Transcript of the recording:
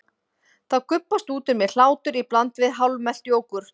Þá gubbast út úr mér hlátur í bland við hálfmelt jógúrt.